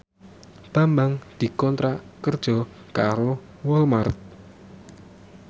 Bambang dikontrak kerja karo Walmart